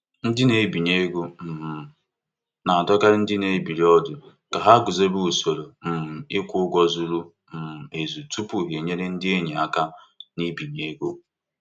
Mgbe ị na-agbazinye um ndị enyi ego, guzobe usoro nkwụghachi ụgwọ gbasiri ike maka um iji zere njikọ ego.